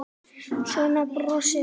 Svo brosti hann.